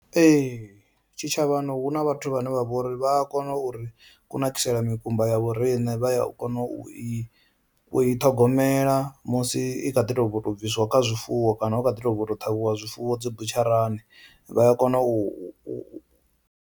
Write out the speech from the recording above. Ee, tshitshavhani hu na vhathu vhane vha vhori vha a kona uri kunakisela mikumba ya vhoriṋe vha ya kona u i u i ṱhogomela musi i kha ḓi to bvo u to bvisiwa kha zwifuwo kana hu kha ḓi to bva u to ṱhavhiwa zwifuwo dzi butsharani vha ya kona u.